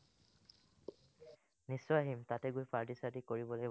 নিশ্চয় আহিম, তাতে গৈ পাৰ্টি-চাৰ্টি কৰিব লাগিব